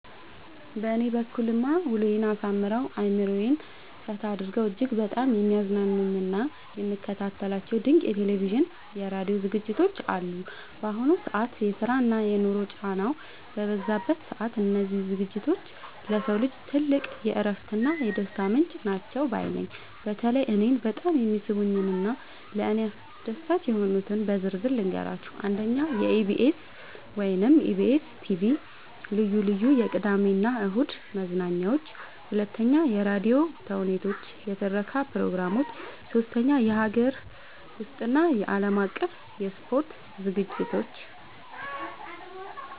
በእኔ በኩልማ ውሎዬን አሳምረው፣ አእምሮዬን ፈታ አድርገው እጅግ በጣም የሚያዝናኑኝና የምከታተላቸው ድንቅ የቴሌቪዥንና የራዲዮ ዝግጅቶች አሉኝ! ባሁኑ ዘመን የስራና የኑሮ ጫናው በበዛበት ሰዓት፣ እነዚህ ዝግጅቶች ለሰው ልጅ ትልቅ የእረፍትና የደስታ ምንጭ ናቸው ባይ ነኝ። በተለይ እኔን በጣም የሚስቡኝንና ለእኔ አስደሳች የሆኑትን በዝርዝር ልንገራችሁ፦ 1. የኢቢኤስ (EBS TV) ልዩ ልዩ የቅዳሜና እሁድ መዝናኛዎች 2. የራዲዮ ተውኔቶችና የትረካ ፕሮግራሞች 3. የሀገር ውስጥና የዓለም አቀፍ የስፖርት ዝግጅቶች